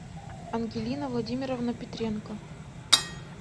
ангелина владимировна петренко